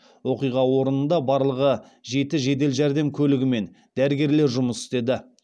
оқиға орнында барлығы жеті жедел жәрдем көлігімен дәрігерлер жұмыс істеді